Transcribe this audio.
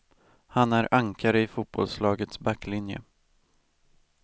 Han är ankare i fotbollslagets backlinje.